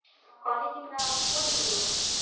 College ಇಂದ fourteen ಗೆ ಹೋಗುದು.